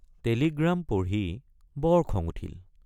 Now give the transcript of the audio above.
Telegram পঢ়ি বৰ খং উঠিল।